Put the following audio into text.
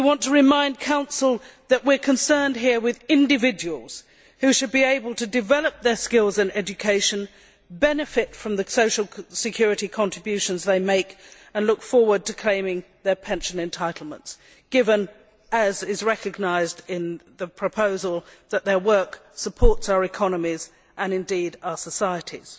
We want to remind the Council that we are concerned here with individuals who should be able to develop their skills and education, benefit from the social security contributions they make and look forward to claiming their pension entitlements, given, as is recognised in the proposal, that their work supports our economies and indeed our societies.